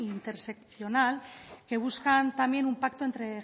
interseccional que buscan también un pacto entre